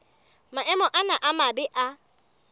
maemo ana a mabe a